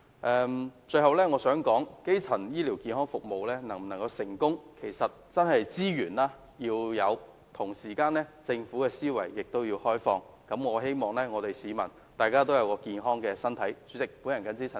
我最後想說的是，基層醫療健康服務能否成功，其實真的取決於是否得到所需的資源，而同時政府要有開放的思維，以保障市民健康的身體。